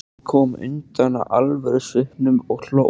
Hann kom undan alvörusvipnum og hló.